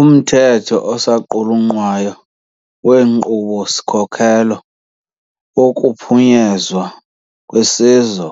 Umthetho osaqulunqwayo weNkqubo-sikhokelo wokuPhunyezwa kweSizwe